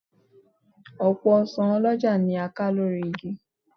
Ọ̀pọ̀ ọsàn ọlọ́jà ni a ká lórí igi